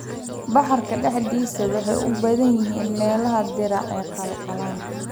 bakhaarka dhexdiisa. Waxay ku badan yihiin meelaha diiran ee qalalan